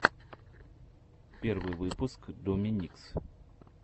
первый выпуск домикс